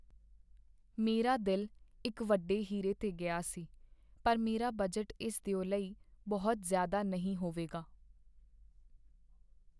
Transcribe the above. ਮੇਰਾ ਦਿਲ ਇੱਕ ਵੱਡੇ ਹੀਰੇ 'ਤੇ ਗਿਆ ਸੀ, ਪਰ ਮੇਰਾ ਬਜਟ ਇਸ ਦਿਓ ਲਈ ਬਹੁਤ ਜ਼ਿਆਦਾ ਨਹੀਂ ਹੋਵੇਗਾ।